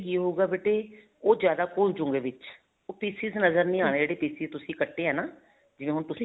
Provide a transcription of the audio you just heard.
ਕੀ ਹੋਉਗਾ ਬੇਟੇ ਉਹ ਜਿਆਦਾ ਘੁੱਲ ਜੁਗੇ ਵਿੱਚ ਉਹ pieces ਨਜ਼ਰ ਨਹੀਂ ਆਉਣੇ ਜਿਹੜੇ pieces ਤੁਸੀਂ ਕੱਟੇ ਹੈ ਨਾ ਜਿਵੇਂ ਹੁਣ ਤੁਸੀਂ